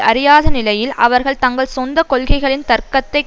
அறியாத நிலையில் அவர்கள் தங்கள் சொந்த கொள்கைகளின் தர்க்கத்தைக்